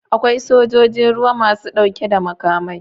Akwai sojojin ruwa masu dauke da makamai.